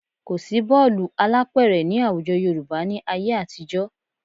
Kò sí bọ́ọ̀lù alápẹ̀rẹ̀ ní àwùjọ Yorùbá ní ayé àtijọ́